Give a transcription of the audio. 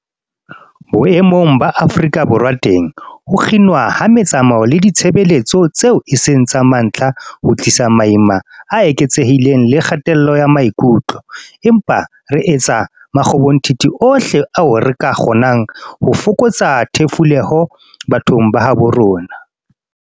Boemong ba Afrika Borwa teng, ho kginwa ha metsamao le ditshebeletso tseo e seng tsa mantlha ho tlisa maima a eketsehileng le kgatello ya maikutlo, empa re etsa makgobonthithi ohle ao re ka a kgonang ho fokotsa thefuleho bathong ba habo rona.